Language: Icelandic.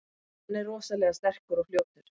Hann er rosalega sterkur og fljótur.